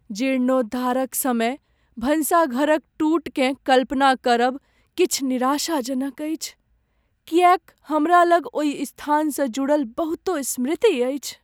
जीर्णोद्धारक समय भनसाघर क टूटकेँ कल्पना करब किछु निराशाजनक अछि, किएक हमरा लग ओहि स्थानसँ जुड़ल बहुतों स्मृति अछि।